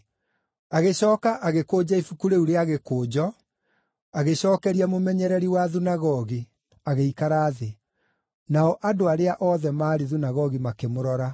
Agĩcooka agĩkũnja ibuku rĩu rĩa gĩkũnjo, agĩcookeria mũmenyereri wa thunagogi, agĩikara thĩ. Nao andũ arĩa othe maarĩ thunagogi makĩmũrora.